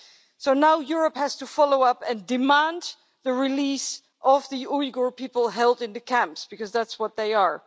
So now Europe has to follow up and demand the release of the Uyghur people held in the camps, because that's what they are.